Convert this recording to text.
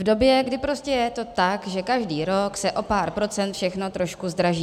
V době, kdy prostě je to tak, že každý rok se o pár procent všechno trošku zdraží.